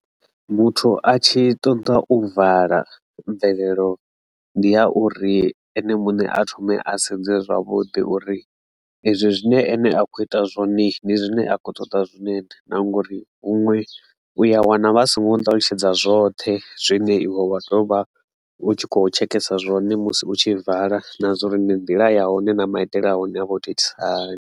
Muthu a tshi ṱoḓa u vala mvelelo ndi ya uri ene muṋe a thome a sedze zwavhuḓi uri ezwi zwine ene a kho ita zwone ndi zwine a khou ṱoḓa zwone na, na ngori huṅwe u ya wana vhasi ngo mu ṱalutshedza zwoṱhe zwine iwe wa ḓovha u tshi khou tshekhesa zwone musi u tshi vala na zwo uri ndi nḓila ya hone na maitele a hone a vho to itisa hani.